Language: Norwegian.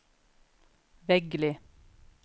Veggli